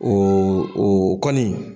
Ɔ o kɔni.